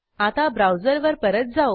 आता ब्राऊजरवर परत जाऊ